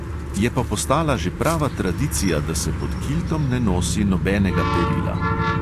Je pa postala že prava tradicija, da se pod kiltom ne nosi nobenega perila.